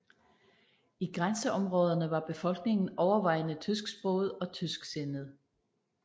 I grænseområderne var befolkningen overvejende tysksproget og tysksindet